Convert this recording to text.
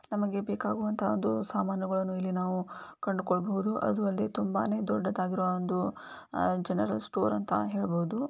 ನಮಗೆ ಬೇಕಾಗುವಂತಹ ಒಂದು ಸಾಮಾನುಗಳನ್ನು ಇಲ್ಲಿ ನಾವು ಕೊಂಡುಕೊಳ್ಳಬಹುದು. ಅದು ಅಲ್ಲದೆ ತುಂಬಾ ದೊಡ್ಡನೆದಾಗಿರೋ ಒಂದು ಅಹ್ ಜನರಲ್ ಸ್ಟೋರ್ ಅಂತ ಹೇಳಬಹುದು.